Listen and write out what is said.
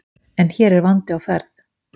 En hér er vandi á ferð.